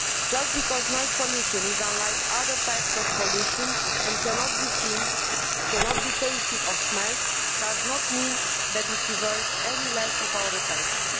Just because noise pollution is unlike other types of pollution and cannot be seen, tasted or smelt does not mean that it deserves less of our attention.